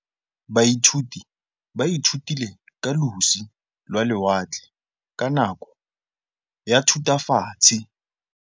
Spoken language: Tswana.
Baithuti ba ithutile ka losi lwa lewatle ka nako ya Thutafatshe.